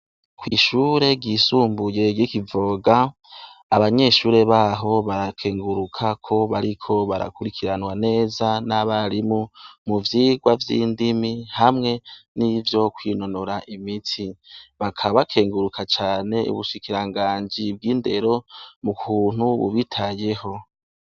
Kw'ishure gisumbuye ry'ikivoga, abanyeshure baho barakenguruka ko bariko barakurikiranwa neza n'abarimu mu vyirwa vy'indimi hamwe n'ivyo kwinonora imiti bakabakenguruka cane, ubushikiranganji bw'indero mu kuntu bubitayeho.